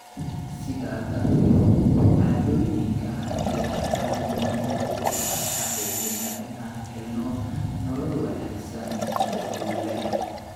Sidaa darteed, caadooyinka ayaa aad muhiim ugu ah xaqiijinta inaan helno nolol wanaagsan oo guul leh.